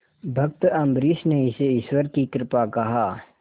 भक्त अम्बरीश ने इसे ईश्वर की कृपा कहा